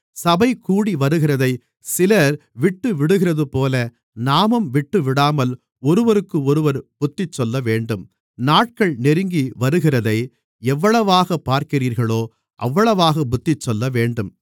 சபை கூடிவருகிறதைச் சிலர் விட்டுவிடுகிறதுபோல நாமும் விட்டுவிடாமல் ஒருவருக்கொருவர் புத்திசொல்லவேண்டும் நாட்கள் நெருங்கி வருகிறதை எவ்வளவாகப் பார்க்கிறீர்களோ அவ்வளவாகப் புத்திசொல்லவேண்டும்